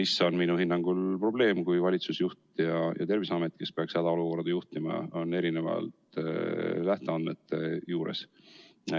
See on minu hinnangul probleem, kui valitsusjuht ja Terviseamet, kes peaks hädaolukorda juhtima, on erinevate lähteandmete juures.